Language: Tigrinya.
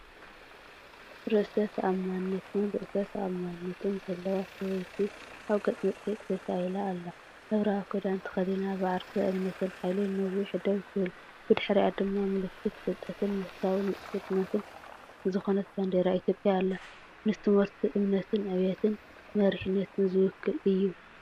ርእሰ ተኣማንነትን ርእሰ ተኣማንነትን ዘለዋ ሰበይቲ ኣብ ገጽ መጽሔት ተሳኢላ ኣላ። ሕብራዊ ክዳን ተኸዲና ብዓርሰ እምነትን ሓይልን ነዊሕ ደው ትብል። ብድሕሪኣ ድማ ምልክት ፍልጠትን መንፈሳዊ ንጹርነትን ዝኾነት ባንዴራ ኢትዮጵያ ኣላ። ንትምህርቲ እምነትን ዕብየትን መሪሕነትን ዝውክል እዩ።